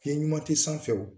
Fiɲɛ ɲuman tɛ sanfɛ